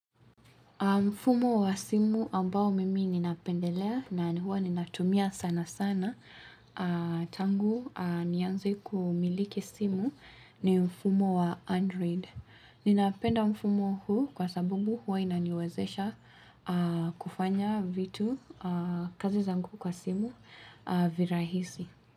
Mfumo wa simu ambao mimi ninapendelea na ni huwa ninatumia sana sana. Tangu nianze kumiliki simu ni mfumo wa Android. Ninapenda mfumo huu kwa sabubu huwa inaniwezesha kufanya vitu kazi zangu kwa simu virahisi.